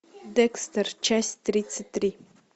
декстер часть тридцать три